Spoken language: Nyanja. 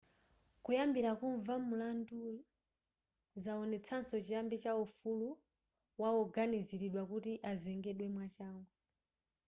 kuyamba kumva mulanduyu zaonetsaso chiyambi cha ufulu wawoganiziridwa kuti azengedwe mwachangu